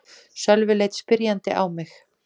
Sölvi leit spyrjandi á mig.